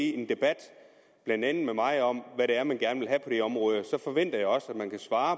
i en debat blandt andet med mig om hvad det er man gerne vil område så forventer jeg også at man kan svare